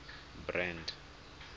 brand